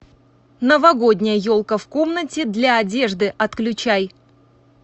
новогодняя елка в комнате для одежды отключай